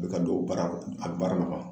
Be ka don baara a baara nɔgɔ